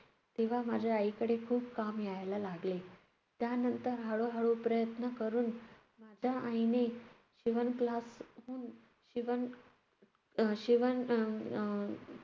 तेव्हा माझ्या आईकडे खूप काम यायला लागले. त्यानंतर हळूहळू प्रयत्न करून माझ्या आईने शिवण class शिवण~ अह शिवण अह अं